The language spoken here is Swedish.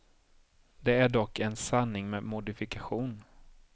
Det är dock en sanning med modifikation.